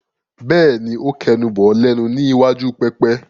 Bẹ́ẹ̀ni, ó kẹnu bọ̀ ọ́ lẹ́nu ní iwájú pẹpẹ.